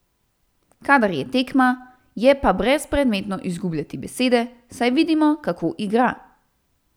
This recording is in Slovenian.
Kadar je tekma, je pa brezpredmetno izgubljati besede, saj vidimo, kako igra.